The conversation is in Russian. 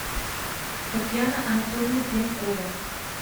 татьяна анатольевна пьянкова